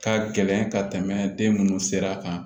Ka gɛlɛn ka tɛmɛ den minnu sera kan